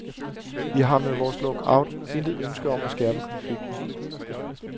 Vi har med vores lockout intet ønske om at skærpe konflikten.